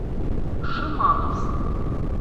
шимановск